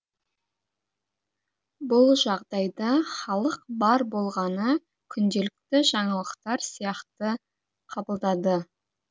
бұл жағдайда халық бар болғаны күнделікті жаңалықтар сияқты қабылдады